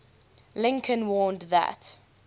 lincoln warned that